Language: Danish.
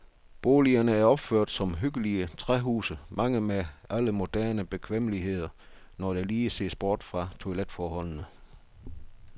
Boligerne er opført som hyggelige træhuse, mange med alle moderne bekvemmeligheder, når der lige ses bort fra toiletforholdene.